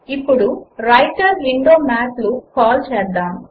ఇప్పుడు writer window మాత్ ను కాల్ చేద్దాము